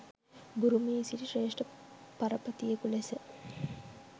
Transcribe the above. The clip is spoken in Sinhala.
බුරුමයේ සිටි ශ්‍රේෂ්ඨ පරපතියෙකු ලෙස